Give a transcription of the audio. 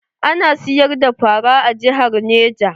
Ana siyar da fara a jihar neja?